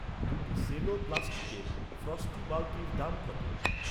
দুটি সেলো প্লাাস্টিক্সের ফ্রস্টি বালতির দাম কত?